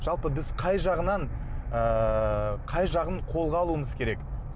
жалпы біз қай жағынан ыыы қай жағын қолға алуымыз керек